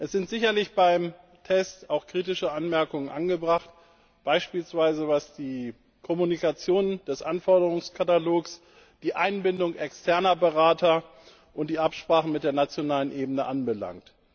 Es sind beim Test sicherlich auch kritische Anmerkungen angebracht, beispielsweise was die Kommunikation des Anforderungskatalogs, die Einbindung externer Berater und die Absprachen mit der nationalen Ebene anbelangt.